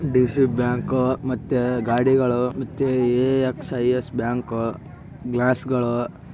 DC bank ಮತ್ತೆ ಗಾಡಿಗಳು ಮತ್ತೆ ಎ_ Axis bank glass ಗಳು.